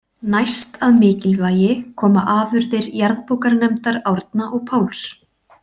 Næst að mikilvægi koma afurðir jarðabókarnefndar Árna og Páls.